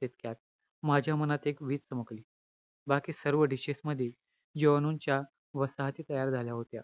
तितक्यात माझ्या मनात एक वीज चमकली. बाकी सर्व dishes मध्ये जिवाणूंच्या वसाहती तयार झाल्या होत्या.